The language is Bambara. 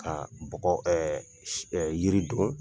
Ka bɔgɔ yiri don,